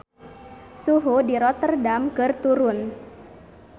Suhu di Rotterdam keur turun